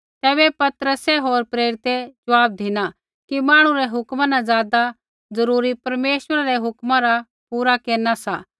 तैबै पतरस होर प्रेरितै ज़वाब धिना कि मांहणु री हुक्म न ज़ादा ज़रूरी परमेश्वरै री हुक्म रा पूरा केरना सा